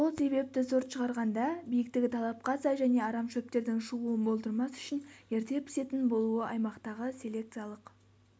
сол себепті сорт шығарғанда биіктігі талапқа сай және арам шөптердің шығуын болдырмас үшін ерте пісетін болуы аймақтағы селекциялық